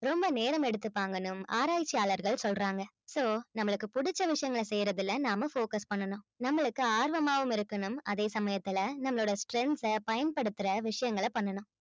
ரொம்ப நேரம் எடுத்துப்பாங்கன்னும் ஆராய்ச்சியாளர்கள் சொல்றாங்க so நம்மளுக்கு பிடிச்ச விஷயங்கள செய்யறதுல நாம focus பண்ணணும் நம்மளுக்கு ஆர்வமாவும் இருக்கணும் அதே சமயத்துல நம்மளோட strength அ பயன்படுத்துற விஷயங்களை பண்ணணும்